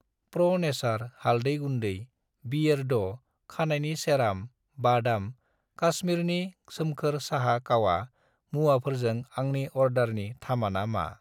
प्र' नेचार हालदै गुन्दै, बियेरड' खानायनि सेराम, वादम कास्मिरनि सोमखोर साहा कावा मुवाफोरजों आंनि अर्डारनि थामाना मा?